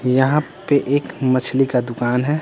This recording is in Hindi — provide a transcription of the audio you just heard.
यहाँ पे एक मछली का दुकान है।